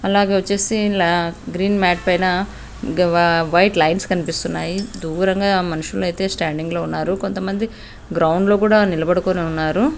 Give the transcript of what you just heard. అలాగే వచ్చేసి ఇండ్ల గ్రీన్ మ్యాట్ పైన వైట్ లైన్స్ కనిపిస్తున్నాయి దూరంగా మనుషులైతే స్టాండింగ్ లో ఉన్నారు కొంతమంది గ్రౌండ్ డ్లో కూడా నిలబడుకొని ఉన్నారు.